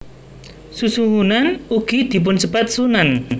Susuhunan ugi dipunsebat Sunan